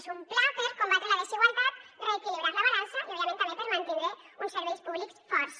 és un pla per combatre la desigualtat reequilibrar la balança i òbviament també per mantindre uns serveis públics forts